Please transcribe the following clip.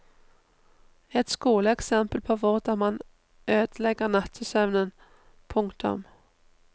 Et skoleeksempel på hvordan man ødelegger nattesøvnen. punktum